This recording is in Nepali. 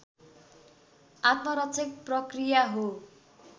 आत्मरक्षक प्रक्रिया हो